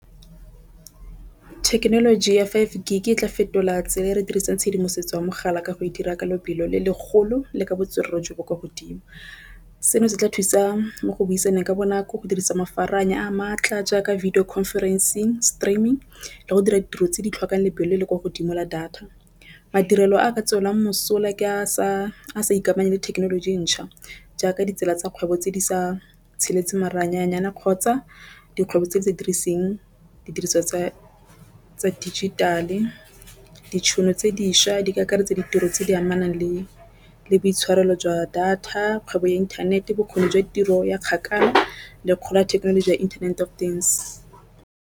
Thekenoloji ya five G e tla fetola tsela e re dirisang tshedimosetso ya mogala ka go e dira ka lebelo le legolo le ka botswerere jo bo kwa godimo. Seno se tla thusa mo go buisana ka bonako go dirisa a maatla jaaka video conference streaming le go dira ditiro tse di tlhokang lebelo le le kwa godimo la data. Madirelo a ka tswelelang mosola ke a sa ikamanye le thekenoloji entšha jaaka ditsela tsa kgwebo tse di sa kgotsa dikgwebo tse di sa diriseng didiriswa tsa dijitale ditšhono tse dišwa di ka akaretsa ditiro tse di amanang le boitshwarelo jwa data kgwebo ya inthanete bokgoni jwa tiro ya kgakala le kgolo ya thekenoloji ya internet of things.